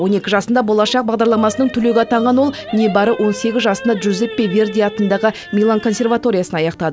он екі жасында болашақ бағдарламасының түлегі атанған ол небәрі он сегіз жасында джузеппе верди атындағы милан консерваториясын аяқтады